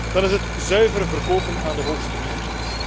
Dan is het zuiver verkopen aan de hoogste bieder.